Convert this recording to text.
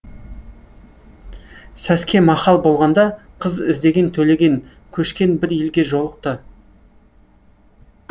сәске махал болғанда қыз іздеген төлеген көшкен бір елге жолықты